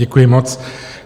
Děkuji moc.